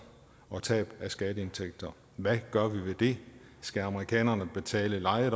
og tab af skatteindtægter hvad gør vi ved det skal amerikanerne betale leje